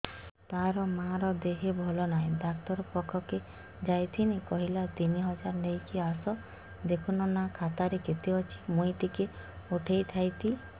ତାର ମାର ଦେହେ ଭଲ ନାଇଁ ଡାକ୍ତର ପଖକେ ଯାଈଥିନି କହିଲା ତିନ ହଜାର ନେଇକି ଆସ ଦେଖୁନ ନା ଖାତାରେ କେତେ ଅଛି ମୁଇଁ ଟିକେ ଉଠେଇ ଥାଇତି